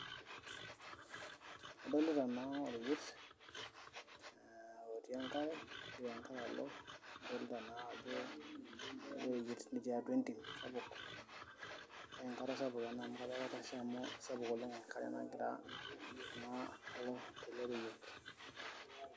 Adolita naa oreyiet, otii enkare. Egira enkare alo, nadolta najo oreyiet otii atua entim sapuk, na enkare sapuk ena amu kajo ketasha amu sapuk oleng enkare nagira na oleng' tele reyiet.